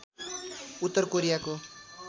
उत्तर कोरियाको